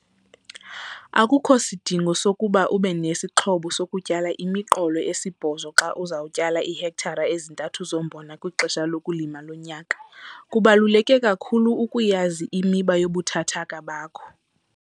Akukho sidingo sokuba ube nesixhobo sokutyala imiqolo esibhozo xa uza kutyala iihektare ezintathu zombona kwixesha lokulima lonyaka. Kubaluleke kakhulu ukuyazi imiba yobuthathaka bakho.